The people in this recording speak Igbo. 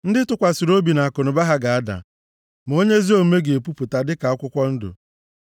Ndị tụkwasịrị obi nʼakụnụba ha ga-ada, ma onye ezi omume ga-epupụta dịka akwụkwọ ndụ.